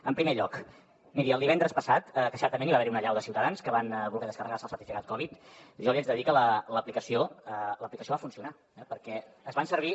en primer lloc miri el divendres passat que certament hi va haver una allau de ciutadans que van voler descarregar se el certificat covid jo li haig de dir que l’aplicació va funcionar perquè es van servir